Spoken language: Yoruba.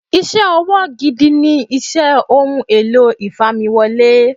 Iṣẹ́ ọwọ́ gidi ni iṣẹ́ Ohun èlò ìfamiwọlé.